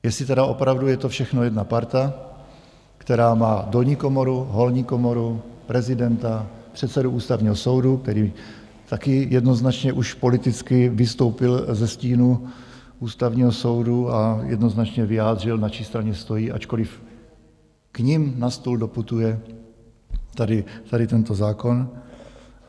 Jestli tedy opravdu je to všechno jedna parta, která má dolní komoru, horní komoru, prezidenta, předsedu Ústavního soudu, který taky jednoznačně už politicky vystoupil ze stínu Ústavního soudu a jednoznačně vyjádřil, na čí straně stojí, ačkoliv k nim na stůl doputuje tady tento zákon.